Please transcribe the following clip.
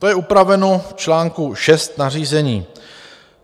To je upraveno v článku 6 nařízení.